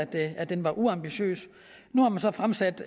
at den var uambitiøs nu har man så fremsat